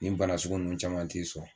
Nin banasugu ninnu caman t'i sɔrɔ